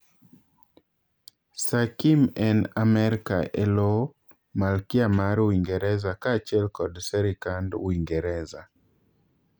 Sir Kim en Amerka eloo malkia mar Uingereza kaa achiel kod Serikand Uingereza